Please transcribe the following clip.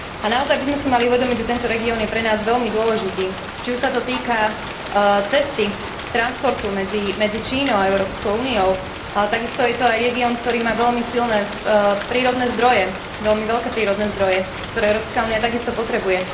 Naozaj by sme si mali uvedomiť, že tento región je pre nás veľmi dôležitý, či už sa to týka cesty, transportu medzi Čínou a Európskou úniou, ale takisto je to aj región, ktorý má veľmi silné prírodné zdroje, veľmi veľké prírodné zdroje, ktoré Európska únia takisto potrebuje.